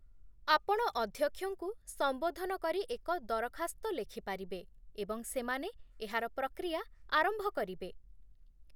ଆପଣ ଅଧ୍ୟକ୍ଷଙ୍କୁ ସମ୍ବୋଧନ କରି ଏକ ଦରଖାସ୍ତ ଲେଖିପାରିବେ, ଏବଂ ସେମାନେ ଏହାର ପ୍ରକ୍ରିୟା ଆରମ୍ଭ କରିବେ